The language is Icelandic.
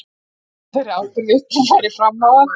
Nú segði hann þeirri ábyrgð upp og færi fram á að